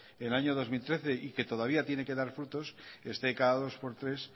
el año dos mil trece y que todavía tiene que dar frutos esté cada dos por tres